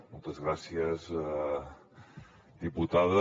moltes gràcies diputada